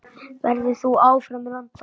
Verður þú áfram í London?